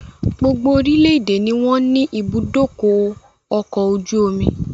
Gbogbo orílédé ni wọn ní ibùdókọ̀ ọkọ̀ ojú omi